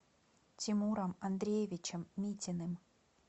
тимуром андреевичем митиным